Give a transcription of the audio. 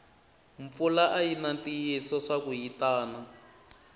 mpfula ayina ntiyiso swaku yitana